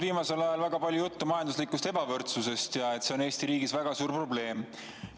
Viimasel ajal on olnud väga palju juttu majanduslikust ebavõrdsusest ja sellest, et see on Eesti riigis väga suur probleem.